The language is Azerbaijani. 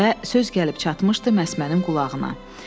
Və söz gəlib çatmışdı məsmənin qulağına.